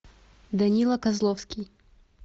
данила козловский